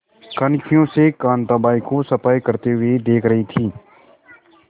कनखियों से कांताबाई को सफाई करते हुए देख रही थी